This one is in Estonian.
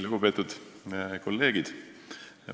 Lugupeetud kolleegid!